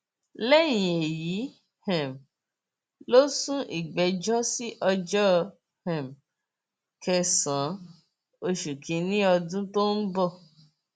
lẹyìn èyí um ló sún ìgbẹjọ sí ọjọ um kẹsànán oṣù kínínní ọdún tó ń bọ